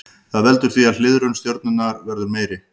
Það veldur því að hliðrun stjörnunnar verður meiri.